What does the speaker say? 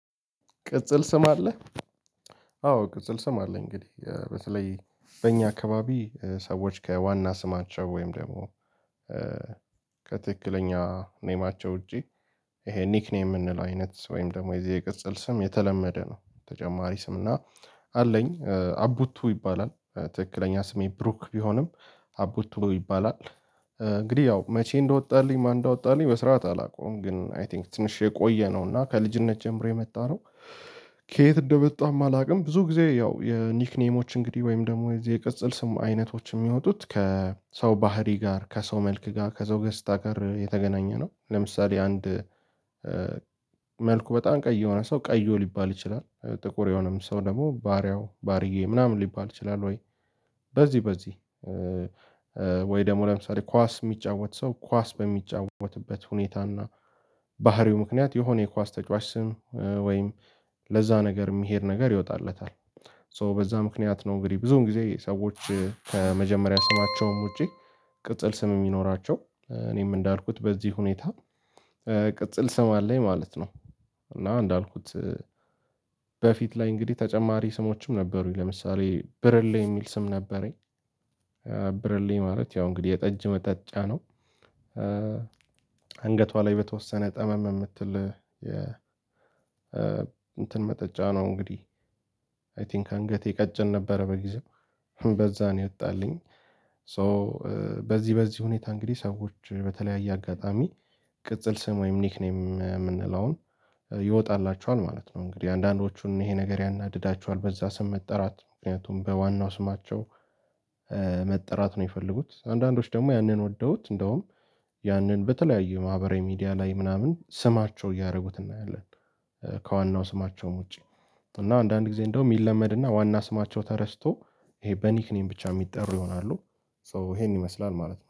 ቅጽል ስም አለህ? አዎ ቅጽል ስም አለኝ። እንግዲህ በተለይ በእኛ አካባቢ ሰዎች ከዋና ስማቸው ወይም ደግሞ እ ከትክክለኛ ኔማቸው ውጪ ይሄ ኒክኔም የምንለው አይነት ወይም ደግሞ የዚህ የቅጽል ስም የተለመደ ነው ተጨማሪ ስም እና አለኝ አቡቱ ይባላል ትክክለኛ ስሜ ብሩክ ቢሆንም አቡቱ ይባላል። እንግዲህ ያው መቼ እንደወጣልኝ ማን እንዳወጣልኝ በስርዓት አላውቅም ግን አይ ቲንክ ትንሽ የቆየ ነው እና ከልጅነት ጀምሮ የመጣ ነው። ከየት እንደመጣም አላውቅም ብዙ ጊዜ ያው የኒክኔሞች እንግዲህ ወይም ደግሞ የዚህ የቅጽል ስም አይነቶች የሚወጡት ከሰው ባህሪ ጋር ከሰው መልክ ጋር ከሰው ገጽታ ጋር የተገናኘ ነው። ለምሳሌ አንድ መልኩ በጣም ቀይ የሆነ ሰው ቀዮ ሊባል ይችላል። ጥቁር የሆነም ሰው ደግሞ ባሪያው ባርዬ ምናምን ሊባል ይችላል። ወይ በዚህ በዚህ ወይ ደግሞ ለምሳሌ ኳስ የሚጫወት ሰው ኳስ በሚጫወትበት ሁኔታና ባህሪው ምክንያት የሆነ የኳስ ተጫዋች ስም ወይም ለዛ ነገር የሚሄድ ነገር ይወጣለታል ሶ በዛ ምክንያት ነው። እንግዲህ ብዙውን ጊዜ ሰዎች ከመጀመሪያ ስማቸውም ውጪ ቅጽል ስም የሚኖራቸው እኔም እንዳልኩት በዚህ ሁኔታ ቅጽል ስም አለኝ ማለት ነው። እና እንዳልኩት በፊት ላይ እንግዲህ ተጨማሪ ስሞችም ነበሩኝ ለምሳሌ ብርሌ የሚል ስም ነበረኝ። ብርሌ ማለት ያው እንግዲህ የጠጅ መጠጫ ነው። ኧ አንገቷ ላይ በተወሰነ ጠመም የምትል የ እንትን መጠጫ ነው እንግዲህ አይ ቲንክ አንገቴ ቀጭን ነበረ በጊዜው በዛ ነው የወጣልኝ። ሶ በዚህ በዚህ ሁኔታ እንግዲህ ሰዎች በተለያየ አጋጣሚ ቅጽል ስም ወይም ኒክኔም የምንለውን ይወጣላቸዋል ማለት ነው። እንግዲህ አንዳንዶቹም ይሄ ነገር ያናድዳቸዋል በዛ ስም መጠራት ምክንያቱም በዋናው ስማቸው መጠራት ነው የሚፈልጉት አንዳንዶች ደግሞ ያንን ወደውት እንደውም ያንን በተለያዩ ማህበራዊ ሚዲያ ላይ ምናምን ስማቸው እያደረጉት እናያለን። ከዋናው ስማቸውም ውጪ እና አንዳንድ ጊዜ እንደውም ይለመድና ዋና ስማቸው ተረስቶ ይሄ በኒክኒም ብቻ የሚጠሩ ይሆናሉ። ሶ ይሄን ይመስላል ማለት ነው